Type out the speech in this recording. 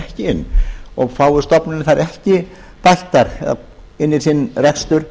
ekki inn og fái stofnunin þær ekki bættar inn í sinn rekstur